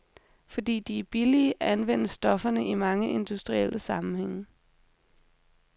Fordi de er billige, anvendes stofferne i mange industrielle sammenhænge.